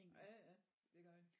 Ja det gør det